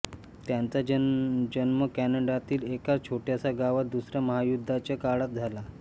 त्यांचा जन्म कॅनडातील एका छोटय़ाशा गावात दुसऱ्या महायुद्धाच्या काळात झाला